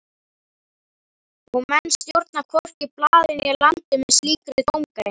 Og menn stjórna hvorki blaði né landi með slíkri dómgreind.